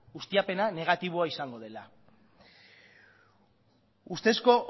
ustiapena negatiboa izango dela ustezko